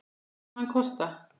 Hvað mun hann kosta?